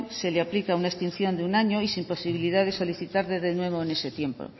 se le aplica una extinción de un año y sin posibilidad de solicitarla de nuevo en ese tiempo